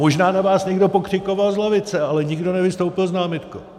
Možná na vás někdo pokřikoval z lavice, ale nikdo nevystoupil s námitkou.